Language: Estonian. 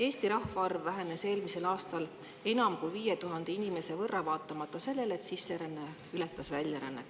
Eesti rahvaarv vähenes eelmisel aastal enam kui 5000 inimese võrra vaatamata sellele, et sisseränne ületas väljarännet.